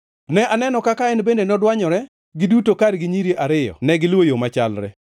Ne aneno kaka en bende nodwanyore; giduto kargi nyiri ariyo negiluwo yo machalre.